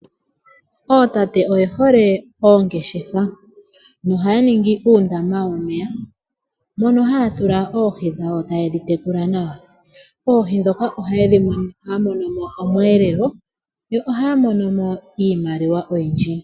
Ootate oye hole oongeshefa. Ohaya ningi uundama womeya mono haya tula oohi dhawo yo taye dhi tekula nawa. Moohi ndhoka ohaya mono mo omweelelo yo ohaya mono mo iimaliwa oyindji.